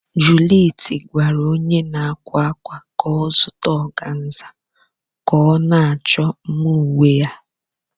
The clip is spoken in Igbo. Juliet gwara onye na-akwa akwa ka ọ zụta organza ka ọ na-achọ mma uwe ya.